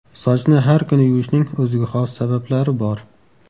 Sochni har kuni yuvishning o‘ziga xos sabablari bor.